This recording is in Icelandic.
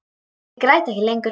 Ég græt ekki lengur.